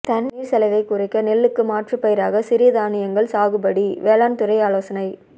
தண்ணீர் செலவை குறைக்க நெல்லுக்கு மாற்றுப்பயிராக சிறுதானியங்கள் சாகுபடி வேளாண் துறை ஆலோசனை